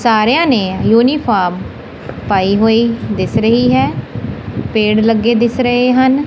ਸਾਰਿਆਂ ਨੇ ਯੂਨੀਫਾਰਮ ਪਾਈ ਹੋਈ ਦਿਸ ਰਹੀ ਹੈ ਪੇੜ ਲੱਗੇ ਦਿਸ ਰਹੇ ਹਨ।